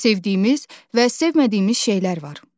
Sevdiyimiz və sevmədiyimiz şeylər var.